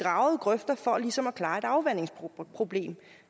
grøfter for ligesom at klare et afvandingsproblem